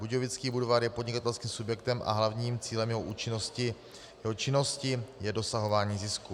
Budějovický Budvar je podnikatelským subjektem a hlavním cílem jeho činnosti je dosahování zisku.